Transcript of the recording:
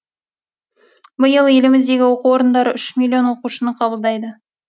биыл еліміздегі оқу орындары үш миллион оқушыны қабылдайды